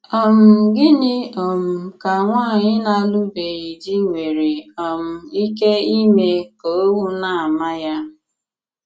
um Gịnị̀ um kà nwànyị̀ na-àlụbèghị di nwere um ìkè ìmè kà òwù na-àmà ya?